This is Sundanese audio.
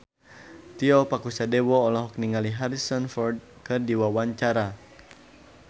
Tio Pakusadewo olohok ningali Harrison Ford keur diwawancara